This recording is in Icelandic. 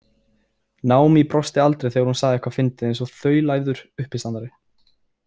Naomi brosti aldrei þegar hún sagði eitthvað fyndið, eins og þaulæfður uppistandari.